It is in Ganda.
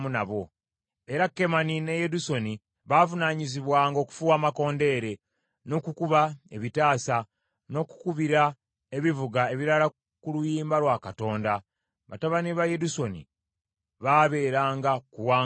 Era Kemani ne Yedusuni baavunaanyizibwanga okufuuwa amakondeere, n’okukuba ebitaasa, n’okukubira ebivuga ebirala ku luyimba lwa Katonda. Batabani ba Yedusuni baabeeranga ku wankaaki.